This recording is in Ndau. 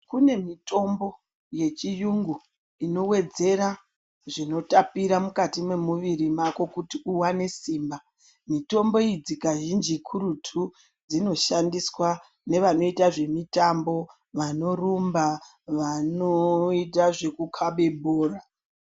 Kune mitombo yechiyungu inowedzera zvinotapira mukati memuviri mako kuti uwane simba. Mitombo idzi kazhinji kurutu dzinoshandiswa nevanoita zvemitambo, vanorumba nevanoita zvekukabe bhora.